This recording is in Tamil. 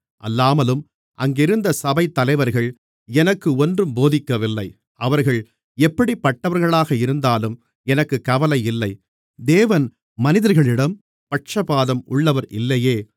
அல்லாமலும் அங்கிருந்த சபைத் தலைவர்கள் எனக்கு ஒன்றும் போதிக்கவில்லை அவர்கள் எப்படிப்பட்டவர்களாக இருந்தாலும் எனக்குக் கவலையில்லை தேவன் மனிதர்களிடம் பட்சபாதம் உள்ளவர் இல்லையே